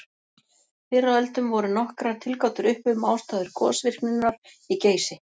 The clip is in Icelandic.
Fyrr á öldum voru nokkrar tilgátur uppi um ástæður gosvirkninnar í Geysi.